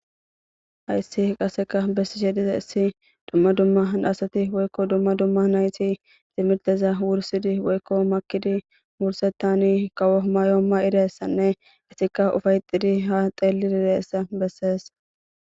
hayssi qaseka bessishe dizayissi dumma dumma asati woykko dumma dumma nayti timirteza wursidi woykko makidi wursetani kawo may7o ma7idayissanne etikka ufayxidi ha xeelli dirayssa bessees